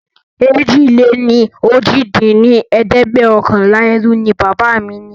èjì-lé-ní-ojì dín ní ẹ̀ẹ́dẹ́gbẹ́ọ̀kànlá ẹrú ní bàbá mí ní